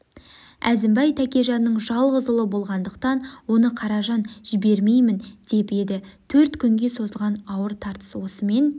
әзімбай тәкежанның жалғыз ұлы болғандықтан оны қаражан жібермеймін деп еді төрт күнге созылған ауыр тартыс осымен